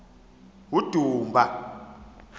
udumba